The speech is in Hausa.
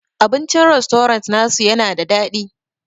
Abincin rastorant na su yana da daɗi.